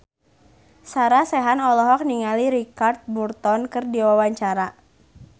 Sarah Sechan olohok ningali Richard Burton keur diwawancara